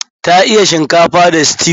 Ta iya shinkafa da stew.